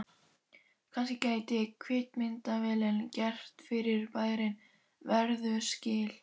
Kannski gæti kvikmyndavélin gert fyrirbærinu verðug skil.